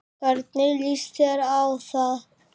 Hvernig líst þér á það